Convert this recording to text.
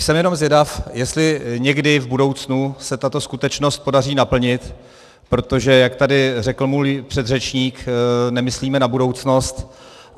Jsem jenom zvědav, jestli někdy v budoucnu se tuto skutečnost podaří naplnit, protože jak tady řekl můj předřečník, nemyslíme na budoucnost.